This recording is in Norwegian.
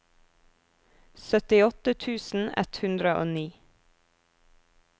syttiåtte tusen ett hundre og ni